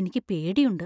എനിക്ക് പേടിയുണ്ട് .